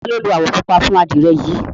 ta lo lo awọ pupa fun adire yi?